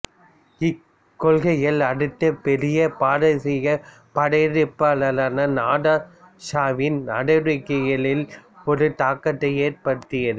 இக்கொள்கைகள் அடுத்த பெரிய பாரசீகப் படையெடுப்பாளரான நாதிர் ஷாவின் நடவடிக்கைகளிலும் ஒரு தாக்கத்தை ஏற்படுத்தியது